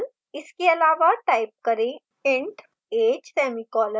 इसके अलावा type करें: int age semicolon semicolon